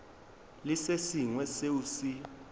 le se sengwe seo se